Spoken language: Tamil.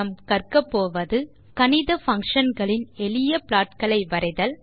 நாம் கற்கப்போவது கணித பங்ஷன் களின் எளிய ப்ளாட் களை வரைதல்